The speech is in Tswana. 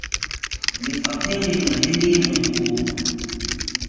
lefapheng lengwe le lengwe o